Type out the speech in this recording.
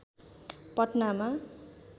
पटनामा